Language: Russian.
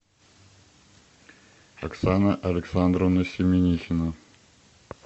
оксана александровна семенихина